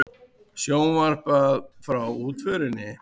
Sjónvarpað frá útförinni